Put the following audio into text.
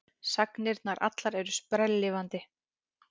Sagnirnar allar eru sprelllifandi.